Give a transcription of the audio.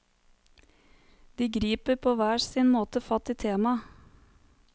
De griper på hver sin måte fatt i temaet.